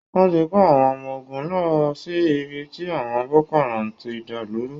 Wọ́n ti kó àwọn ọmọ ogun lọ sí ibi tí àwọn Boko Haram ti ń dàlú rú